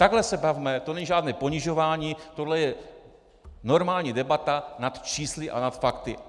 Takhle se bavme, to není žádné ponižování, to je normální debata nad čísly a nad fakty.